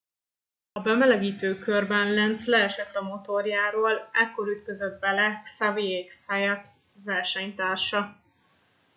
a bemelegítő körben lenz leesett a motorjáról ekkor ütközött bele xavier zayat versenytársa